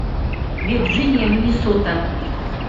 вирджиния миннесота